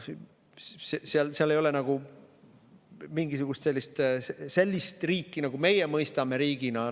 Seal ei ole mingisugust sellist riiki, mida meie mõistame riigina.